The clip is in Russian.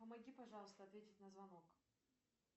помоги пожалуйста ответить на звонок